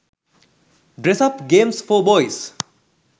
dress up games for boys